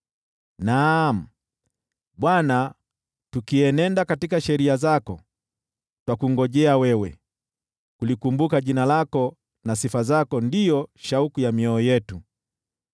Naam, Bwana , tukienenda katika sheria zako, twakungojea wewe, jina lako na sifa zako ndizo shauku za mioyo yetu.